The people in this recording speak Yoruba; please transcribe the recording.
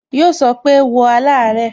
Yo so pé, "wo alare"